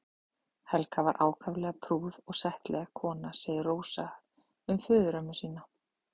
Helga var ákaflega prúð og settleg kona segir Rósa um föðurömmu sína.